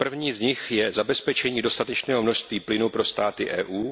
z nich je zabezpečení dostatečného množství plynu pro státy EU.